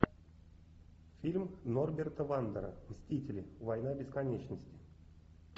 фильм норберта вандера мстители война бесконечности